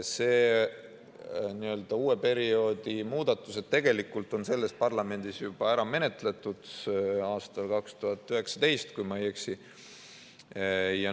Need n‑ö uue perioodi muudatused on tegelikult selles parlamendis ära menetletud aastal 2019, kui ma ei eksi.